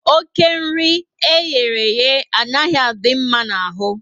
Oké nri eyereye anaghị adị mma n'ahụ